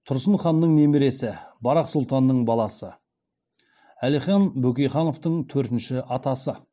тұрсын ханның немересі барақ сұлтанның баласы бөкейхановтың төртінші атасы